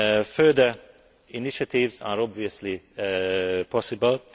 Further initiatives are obviously possible.